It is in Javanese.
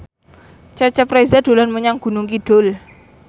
Cecep Reza dolan menyang Gunung Kidul